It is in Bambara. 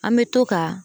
An bɛ to ka